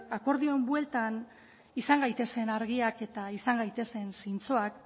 akordioaren bueltan izan gaitezen argiak eta izan gaitezen zintzoak